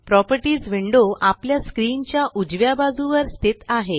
properties window आपल्या screen च्या उजव्या बाजुवर स्थित आहे